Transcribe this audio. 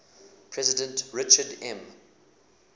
president richard m